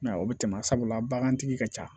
I m'a ye o bɛ tɛmɛ sabula bagantigi ka ca